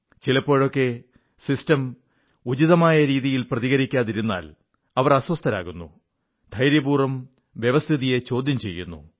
ചിലപ്പോഴൊക്കെ വ്യവസ്ഥിതി ഉചിതമായ രീതിയിൽ പ്രതികരിക്കാതിരുന്നാൽ അവർ അസ്വസ്ഥരാകുന്നു ധൈര്യപൂർവ്വം വ്യവസ്ഥിതിയെ ചോദ്യം ചെയ്യുന്നു